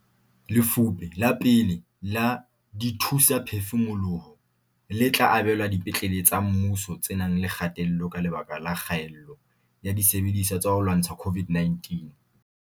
Lefupe la pele la dithusaphefumoloho le tla abelwa dipetlele tsa mmuso tse nang le kgatello ka lebaka la kgaello ya disebediswa tsa ho lwantsha COVID-19.